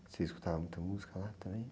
Você escutava muita música lá também?